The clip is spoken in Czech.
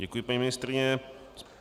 Děkuji, paní ministryně.